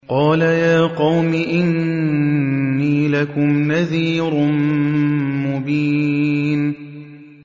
قَالَ يَا قَوْمِ إِنِّي لَكُمْ نَذِيرٌ مُّبِينٌ